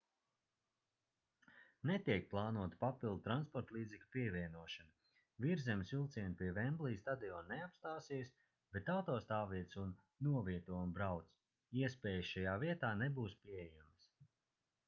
netiek plānota papildu transportlīdzekļu pievienošana virszemes vilcieni pie vemblija stadiona neapstāsies bet autostāvvietas un novieto un brauc iespējas šajā vietā nebūs pieejamas